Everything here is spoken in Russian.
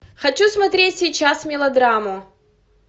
хочу смотреть сейчас мелодраму